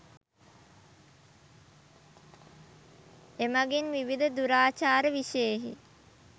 එමඟින් විවිධ දුරාචාර විෂයෙහි